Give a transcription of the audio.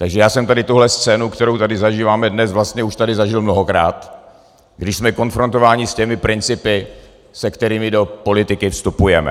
Takže já jsem tady tuhle scénu, kterou tady zažíváme dnes, vlastně už tady zažil mnohokrát, když jsme konfrontováni s těmi principy, se kterými do politiky vstupujeme.